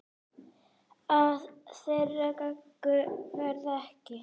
Af þeirri göngu verður ekki.